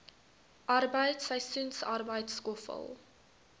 arbeid seisoensarbeid skoffel